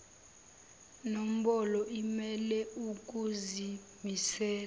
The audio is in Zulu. nombolo imele ukuzimisela